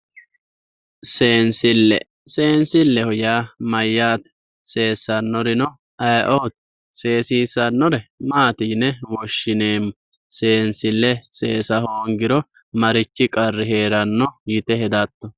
Seensile ,seensileho yaa mayate, seesanorino ayeeoti ,seesissanore maati yinne woshshineemmo, seensile seesa hoongiro marichi qarri heerano yte hedatto.